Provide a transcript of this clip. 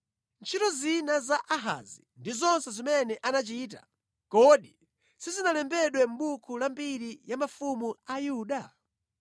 Ntchito zina za Ahazi ndi zonse zimene anachita, kodi sizinalembedwe mʼbuku la mbiri ya mafumu a Yuda?